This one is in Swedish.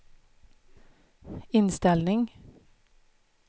inställning